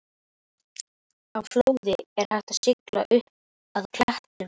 Á flóði er hægt að sigla upp að klettinum.